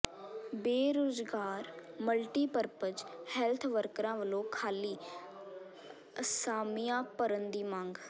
ਬੇਰੁਜ਼ਗਾਰ multipurpose health ਵਰਕਰਾਂ ਵੱਲੋਂ ਖਾਲੀ ਅਸਾਮੀਆਂ ਭਰਨ ਦੀ ਮੰਗ